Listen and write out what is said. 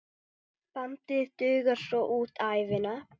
Bandið dugar svo út ævina.